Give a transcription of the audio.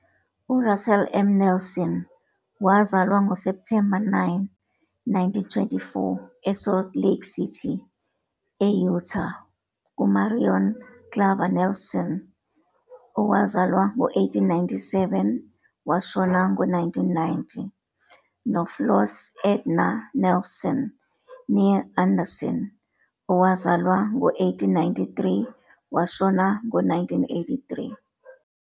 URussell M. Nelson wazalwa ngoSepthemba 9, 1924, eSalt Lake City, e-Utah, kuMarion Clavar Nelson, 1897-1990, noFloss Edna Nelson, "née" Anderson, 1893-1983.